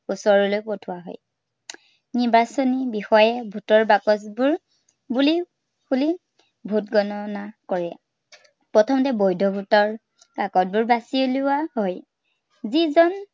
ওচৰলে পঠোৱা হয়। নিৰ্বাচনী বিষয়াই vote ৰ বাকচবোৰ খুলি খুলি vote গননা কৰে। প্ৰথমতে বৈধ vote ৰ বাকচবোৰ বাচি উলিওৱা হয়। যি জন